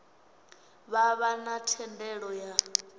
vha vha na thendelo ya